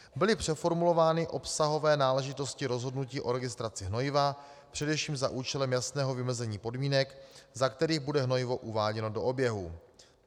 Byly přeformulovány obsahové náležitosti rozhodnutí o registraci hnojiva především za účelem jasného vymezení podmínek, za kterých bude hnojivo uváděno do oběhu.